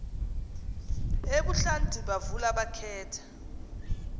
ebuhlanti bavula bakhetha